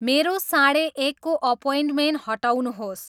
मेरो साढे एकको अप्वइन्टमेन्ट हटाउनुहोस्